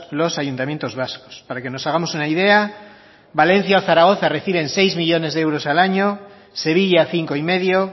los ayuntamientos vascos para que nos hagamos una idea valencia zaragoza reciben seis millónes de euros al año sevilla cinco y medio